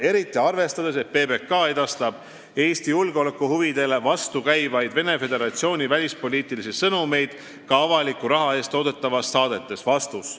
Eriti arvestades, et PBK edastab Eesti julgeolekuhuvidele vastukäivaid Venemaa Föderatsiooni välispoliitilisi sõnumeid ka avaliku raha eest toodetavates saadetes.